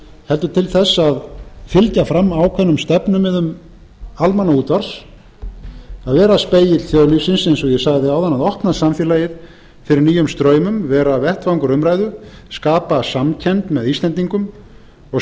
heldur til þess að fylgja fram ákveðnum stefnumiðum almannaútvarps að vera spegill þjóðlífsins eins og ég sagði áðan að opna samfélagið fyrir nýjum straumum vera vettvangur umræðu skapa samkennd með íslendingum og